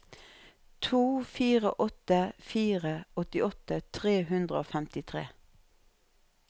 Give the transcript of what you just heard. to fire åtte fire åttiåtte tre hundre og femtitre